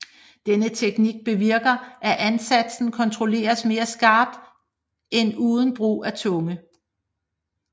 Denne teknik bevirker at ansatsen kontrolleres mere skarpt end uden brug af tunge